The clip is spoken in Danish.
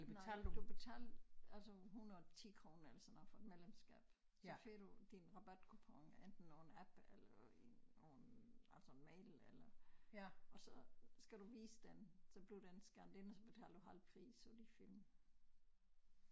Nej du betal altså 110 kroner eller sådan noget for et medlemskab så får du din rabatkupon enten over en app eller i over en altså mail eller og så skal du vise den så bliver den scannet ind og så betaler du halv pris for de film